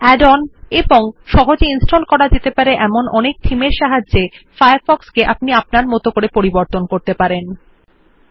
and its offers customisation by ways of add ons and thousands of easy to install themes created by users